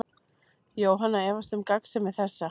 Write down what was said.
Jóhanna efast um gagnsemi þessa.